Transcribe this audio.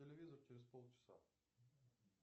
телевизор через пол часа